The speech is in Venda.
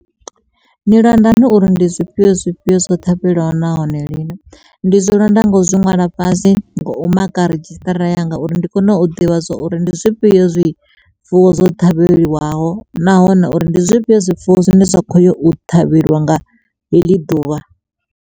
Ndi londa hani uri ndi zwifhio zwifhio zwo ṱhavheliwa nahone lini, ndi zwilonda ngo zwi ṅwala fhasi ngo u maka redzhisṱara yanga uri ndi kone u ḓivha zwa uri ndi zwifhio zwifuwo zwo ṱhavheliwa nahone uri ndi zwifhio zwifuwo zwine zwa kho yo u ṱhavheliwa nga heḽi ḓuvha.